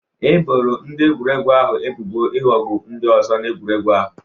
E boro ndị egwuregwu ahụ ebubo ịghọgbu ndị ọzọ na egwuregwu ahụ